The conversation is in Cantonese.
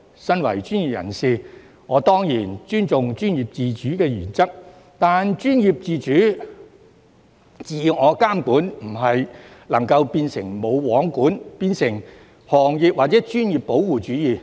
身為專業人士，我當然尊重專業自主原則，但專業自主，自我監管，不能夠變成"無皇管"，或變成行業或專業保護主義。